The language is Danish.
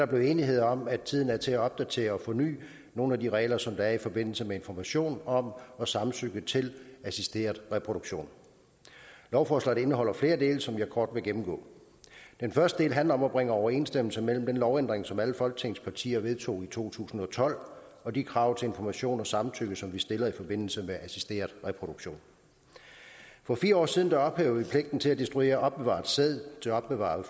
blevet enighed om at tiden er til at opdatere og forny nogle af de regler som der er i forbindelse med information om og samtykke til assisteret reproduktion lovforslaget indeholder flere dele som jeg kort vil gennemgå den første del handler om at bringe overensstemmelse mellem den lovændring som alle folketingets partier vedtog i to tusind og tolv og de krav til information og samtykke som vi stiller i forbindelse med assisteret reproduktion for fire år siden ophævede vi pligten til at destruere opbevaret sæd og opbevarede